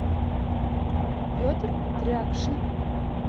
петр трякшин